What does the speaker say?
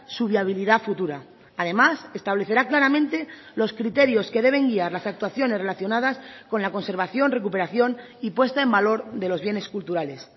su viabilidad futura además establecerá claramente los criterios que deben guiar las actuaciones relacionadas con la conservación recuperación y puesta en valor de los bienes culturales